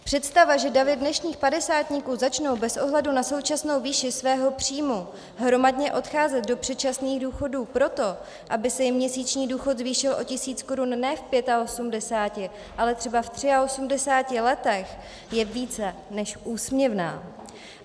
Představa, že davy dnešních padesátníků začnou bez ohledu na současnou výši svého příjmu hromadně odcházet do předčasných důchodů proto, aby se jim měsíční důchod zvýšil o tisíc korun ne v 85, ale třeba v 83 letech, je více než úsměvná.